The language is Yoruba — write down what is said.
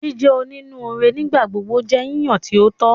Jíjẹ onínúure nigbagbogbo jẹ yíyan ti o tọ.